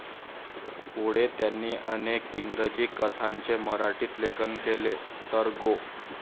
पुढे त्यांनी अनेक इंग्रजी कथांचे मराठीत लेखन केले, तर गो.